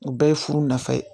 U bɛɛ ye furu nafa ye